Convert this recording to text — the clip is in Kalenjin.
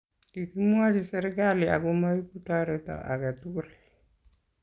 kikimwochi serkali ako maibu toreto age tugul